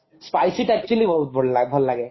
spicy ଟା actually ବହୁତ ଭଲ ଭଲ ଲାଗେ